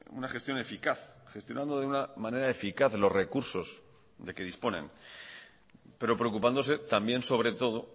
una gestión eficaz gestionando de una manera eficaz los recursos de que disponen pero preocupándose también sobre todo